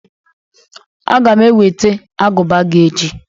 Aga m eweta agụba gị echi